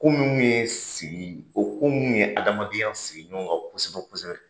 Ko minnu ye sigi o ko munnu ye adamadenya sigi ɲɔgɔn ka kosɛbɛ-kosɛbɛ